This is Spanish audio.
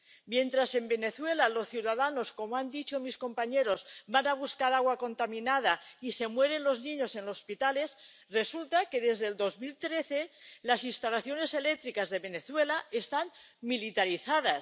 Mientras en Venezuela los ciudadanos —como han dicho mis compañeros— van a buscar agua contaminada y se mueren los niños en los hospitales, resulta que, desde el año 2013 las instalaciones eléctricas en Venezuela están militarizadas.